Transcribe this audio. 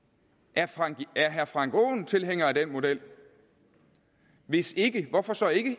er herre frank aaen tilhænger af den model hvis ikke hvorfor så